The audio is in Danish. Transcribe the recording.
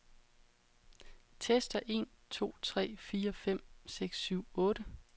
Tester en to tre fire fem seks syv otte.